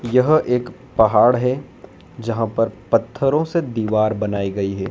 यह एक पहाड़ है जहां पर पत्थरों से दीवार बनाई गई है।